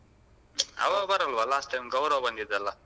ಅವ ಬರಲ್ವಾ last time Gaurav ಬಂದಿದ್ದಲ?